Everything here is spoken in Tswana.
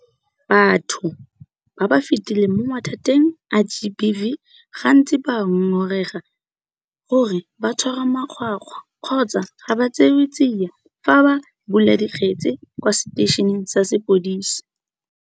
Batho ba ba fetileng mo mathateng a GBV gantsi ba ngongorega gore ba tshwarwa makgwakgwa kgotsa ga ba tseewe tsia fa ba bula dikgetse kwa seteišeneng sa sepodisi.